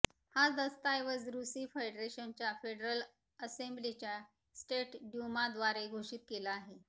हा दस्तऐवज रूसी फेडरेशनच्या फेडरल असेंब्लीच्या स्टेट ड्यूमा द्वारे घोषित केला आहे